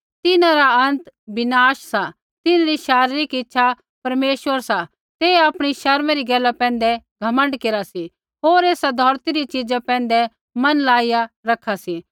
तिन्हां रा अंत विनाश सा तिन्हरी शारीरिक इच्छा परमेश्वर सा ते आपणी शर्मा री गैला पैंधै घमण्ड केरा सी होर एसा धौरती री चिजा पैंधै मन लाईया रखा सी